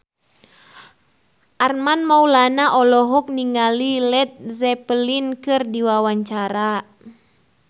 Armand Maulana olohok ningali Led Zeppelin keur diwawancara